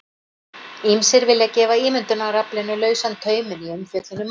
Ýmsir vilja gefa ímyndunaraflinu lausan tauminn í umfjöllun um málið.